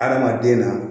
Adamaden na